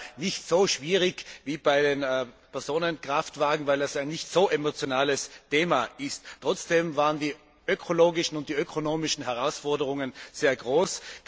Es war ja nicht so schwierig wie bei den Personenkraftwagen, weil es ein nicht so emotionales Thema ist. Trotzdem waren die ökologischen und die ökonomischen Herausforderungen sehr groß.